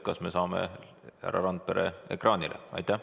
Kas me saame härra Randpere ekraanile?